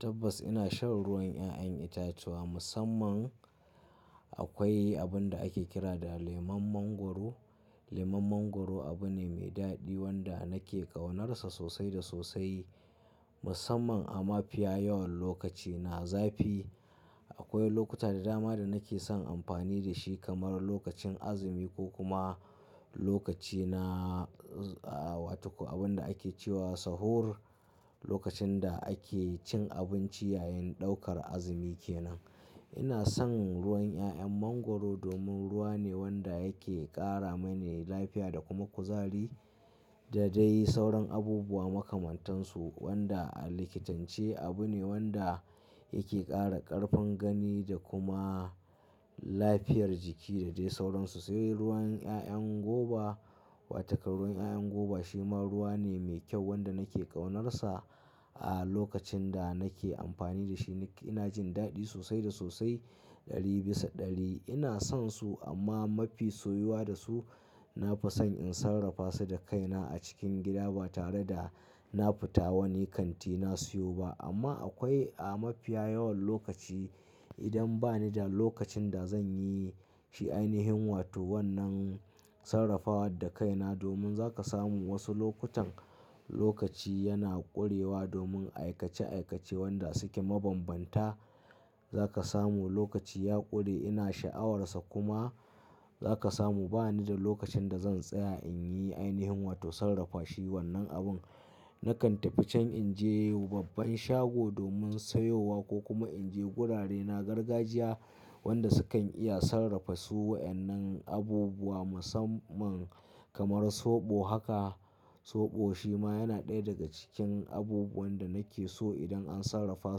Tabbas ina shan ruwan 'ya'yan itatuwa musamman akwai abin da ake kira da leman mangwaro. Lemon mangwaro abu ne mai daɗi wanda nake ƙaunarsa sosai da sosai musamman a mafiya yawan lokaci na zafi. Akwai lokuta da dama da nake son amfani da shi kamar lokacin azumi ko kuma lokaci na, a, wato abin da ake cewa sahur, lokacin da ake cin abinci yayin ɗaukar azumi kenan. Ina son ruwan 'ya'yan mangwaro domin ruwa ne wanda yake ƙara mani lafiya da kuma kuzari da dai sauran abubuwa makamantansu wanda a likitance abu ne wanda yake ƙara ƙarfin gani da kuma lafiyar jiki da dai sauransu. Sai ruwan 'ya'yan goba wato ruwan 'ya'yan goba shi ma ruwa ne mai kyau wanda nake ƙaunarsa. A lokacin da nake amfani da shi ina jin daɗi sosai da sosai ɗari bisa ɗari. Ina sonsu amma mafi soyuwa da su na fason in sarrafa su da kaina a cikin gida ba tare da na fita wani kanti na siyo ba. Amma akwai a mafiya yawan lokaci idan bani da lokacin da zan yi shi ainihin wato wannan sarrafawa da kaina domin za ka samu wasu lokutan lokaci yana ƙurewa domin aikace aikace wanda suke mabambanta. Za ka samu lokaci ya ƙure ina sha'awarsa kuma za ka samu bani da lokacin da zan tsaya in yi ainihin wato sarrafa shi wannan abun. Nakan tafi can in je babban shago domin sayowa ko kuma in je wurare na gargajiya wanda sukan iya sarrafa su waɗannan abubuwa musamman kamar soɓo haka. Soɓo shi ma yana ɗaya daga cikin abubuwan da nake so idan an sarrafa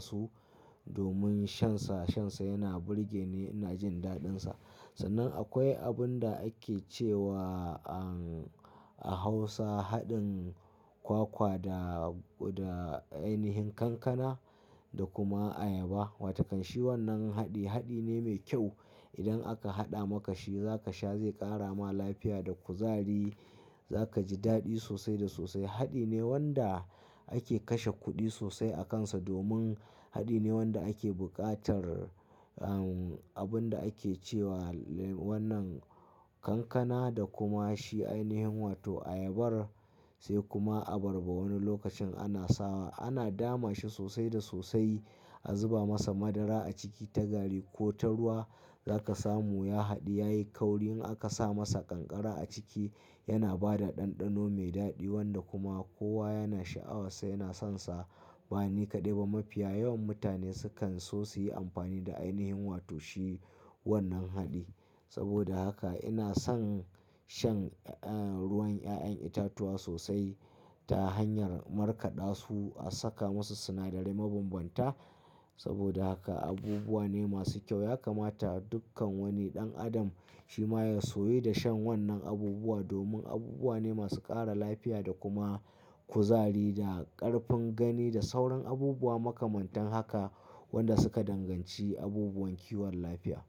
su domin shansa, shansa yana burge ni ina jin daɗinsa. Sannan akwai abin da ake cewa an a Hausa haɗin kwakwa da, da ainihin kankana da kuma ayaba. Wato kan shi wannan haɗi, haɗi ne mai kyau. Idan aka haɗa maka shi za ka sha zai ƙara ma lafiya da kuzari. Za ka ji daɗi sosai da sosai. Haɗi ne wanda ake kashe kuɗi sosai a kansa domin haɗi ne wanda ake buƙatar, um, abin da ake cewa wannan kankana da kuma shi ainihin wato ayabar sai kuma abarba. Wani lokacin ana sawa, ana dama shi sosai da sosai. A zuba masa madara a ciki ta gari ko ta ruwa. Za ka samu ya haɗu yayi kauri in aka sa masa kankara a ciki yana ba da ɗanɗano mai daɗi wanda kuma kowa yana sha'awarsa yana sonsa. Ba ni kaɗai ba mafiya yawan mutane sukan so su yi amfani da ainihin wato shi wannan haɗi. Saboda haka ina son shan, eh, ruwan 'ya'yan itatuwa sosai ta hanyar markaɗa su a saka masu sinadarai mabambanta. Saboda haka abubuwa ne masu kyau yakamata dukkan wani ɗan adam shi ma ya soyi da shan wannan abubuwa domin abubuwa ne masu ƙara lafiya da kuma kuzari da ƙarfin gani da sauran abubuwa makamantan haka wanda suka danganci abubuwan kiwon lafiya.